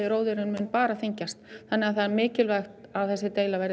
róðurinn mun bara þyngjast þannig að það er mikilvægt að þessi deila verið